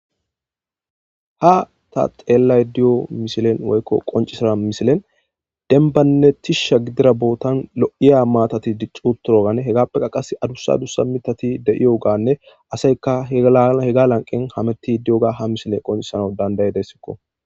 Ha ta xeellayda diyo misilen woykko qoncisa misilen denbannettisha gidira bootan lo7iya maatati diccuutturoganne hegappeka qas adusa dussa mitati deiyoganne aseyka hega lanqen hametti di7oga ha misile qoncisano dandaye dessikko.